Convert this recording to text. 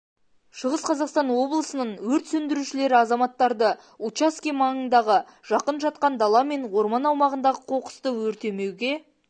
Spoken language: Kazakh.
шығыс қазақстан облысының өрт сөндірушілері азаматтарды учаске маңындағы жақын жатқан дала мен орман аумағындағы қоқысты өртемеуге